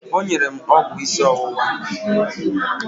O nyere m ọgwụ ịsị ọwụwa.